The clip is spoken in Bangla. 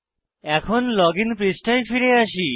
এখন লজিন পৃষ্ঠায় ফিরে আসি